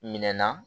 Minɛn na